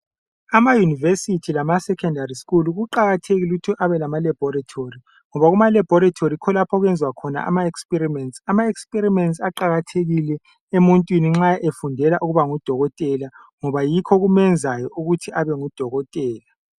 Ama university lama secondary school kuqakathekile ukuthi abe lama laboratory ngoba kuma laboratory yikho lapho okwenzwa khona ama experiments. Ama experiments aqakathekile emuntwini nxa efundela ukuba ngudokotela ngoba yikho okumenzayo ukuthi abe ngudokotela